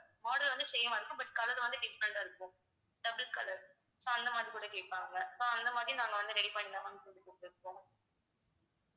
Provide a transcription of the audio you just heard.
model வந்து same ஆ இருக்கும் but color வந்து different ஆ இருக்கும் double color so அந்த மாதிரி கூட கேப்பாங்க so அந்த மாதிரி நாங்க வந்து ready பண்ணி தான் ma'am குடுத்திட்டிருக்கோம்.